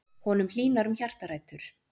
Honum hlýnar um hjartarætur.